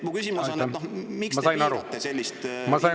Mu küsimus on, miks te piirate sellist info küsimist.